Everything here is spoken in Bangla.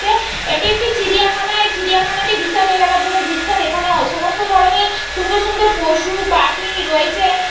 চ্ছে এটি একটি চিড়িয়াখানা। এই চিড়িয়াখানাটি বিশাল এলাকা জুড়ে বিস্তার। এখানে সমস্ত ধরনের সুন্দর সুন্দর পশু পাখি রয়েছে।